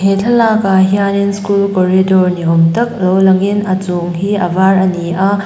he thlalakah hianin school corridor ni awm tak lo langin a chung hi a var a ni a.